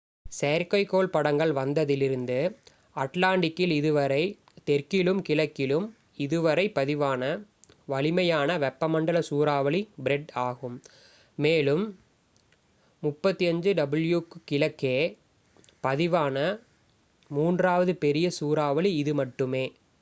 செயற்கைக்கோள் படங்கள் வந்ததிலிருந்து அட்லாண்டிக்கில் இதுவரை தெற்கிலும் கிழக்கிலும் இதுவரை பதிவான வலிமையான வெப்பமண்டல சூறாவளி ஃப்ரெட் ஆகும் மேலும் 35 ° w க்கு கிழக்கே பதிவான மூன்றாவது பெரிய சூறாவளி இது மட்டுமே